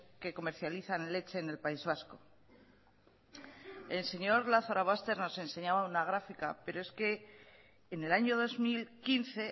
que comercializan leche en el país vasco el señor lazarobaster nos enseñaba una gráfica pero es que en el año dos mil quince